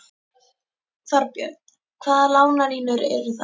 Þorbjörn: Hvaða lánalínur eru það?